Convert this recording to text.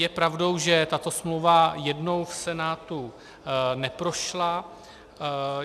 Je pravdou, že tato smlouva jednou v Senátu neprošla.